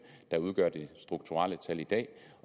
der udgør det strukturelle tal i dag